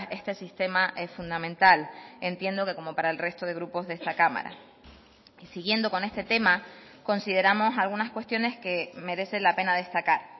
este sistema es fundamental entiendo que como para el resto de grupos de esta cámara y siguiendo con este tema consideramos algunas cuestiones que merece la pena destacar